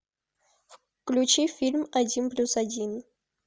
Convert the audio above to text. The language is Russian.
включи фильм один плюс один